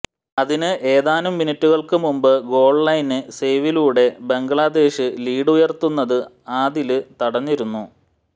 അതിന് ഏതാനും മിനിറ്റുകള് മുമ്പ് ഗോള്ലൈന് സെയ്വിലൂടെ ബംഗ്ലാദേശ് ലീഡുയര്ത്തുന്നത് ആദില് തടഞ്ഞിരുന്നു